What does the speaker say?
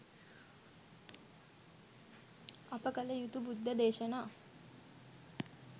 අප කළ යුතු බුද්ධ දේශනා